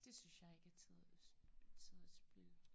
Det synes jeg ikke er tid tidsspild